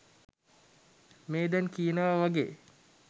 මේ දැන් කියනව වගේ